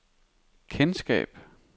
kendskab